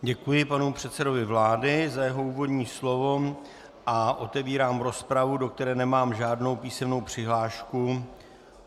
Děkuji panu předsedovi vlády za jeho úvodní slovo a otevírám rozpravu, do které nemám žádnou písemnou přihlášku.